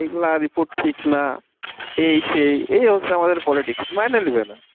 এগুলা report ঠিক না এই সেই এই হচ্ছে আমাদের politics মেনে নিবে না